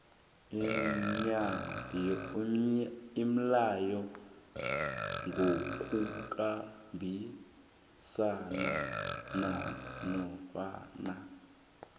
umlayo ngokukhambisana nanofana